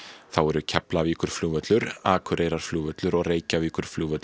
þá eru Keflavíkurflugvöllur Akureyrarflugvöllur og Reykjavíkurflugvöllur